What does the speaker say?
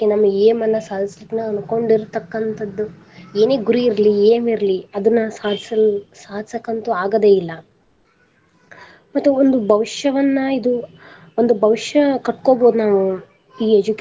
ನಮ್ಮ aim ಅನ್ನ ಸಾಧಿಸಲಿಕ್ಕೆ ನಾವ ಅನ್ಕೊಂಡಿರತಕ್ಕಂತದ ಏನೇ ಗುರಿ ಇರ್ಲಿ aim ಇರಲಿ ಅದನ್ನ ಸಾಧಿಸಲ್~ ಸಾಧಸಕ್ಕಂತು ಆಗದೆ ಇಲ್ಲ ಮತ್ತೆ ಒಂದು ಭವಿಷ್ಯವನ್ನ ಇದು ಒಂದು ಭವಿಷ್ಯ ಕಟ್ಕೋಬಹುದು ನಾವು ಈ education.